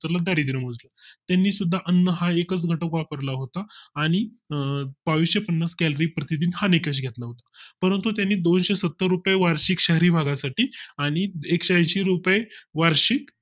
दारिद्र्य मोजलं त्यानंतर त्यांनी सुद्धा अन्ना हा एकच घटक वापरला होतं आणि आह बाविसशे पन्नास calorie प्रतिदिन हा निकष घेतला होता परंतु त्याने दोनशे सत्तर रुपये वार्षिक शहरी भागा साठी आणि एकशेऐंशी रुपये वार्षिक